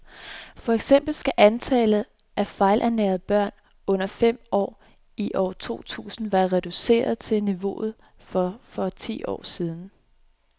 For eksempel skal antallet af fejlernærede børn under fem år i år to tusind være reduceret til niveauet for for ti år siden.